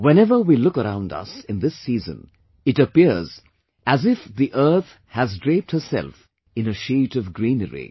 Whenever we look around us in this season it appears as if earth has draped itself in a sheet of greenery